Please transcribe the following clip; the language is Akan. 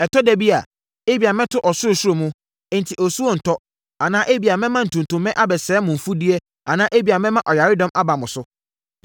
“Ɛtɔ ɛda a, ebia mɛto ɔsorosoro mu, enti osuo rentɔ, anaa ebia mɛma ntutummɛ abɛsɛe mo mfudeɛ anaa ebia mɛma ɔyaredɔm aba mo so.